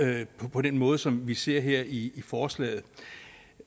på den måde som vi ser her i forslaget